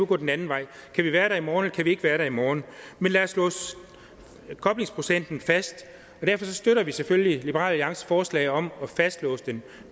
går den anden vej kan vi være der i morgen eller kan vi ikke være der i morgen lad os få koblingsprocenten fast og derfor støtter vi selvfølgelig liberal alliances forslag om at fastlåse den